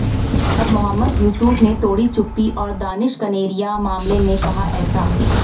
अब मोहम्मद युसूफ ने तोड़ी चुप्पी और दानिश कनेरिया मामले में कहा ऐसा